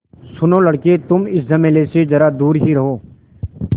सुनो लड़के तुम इस झमेले से ज़रा दूर ही रहो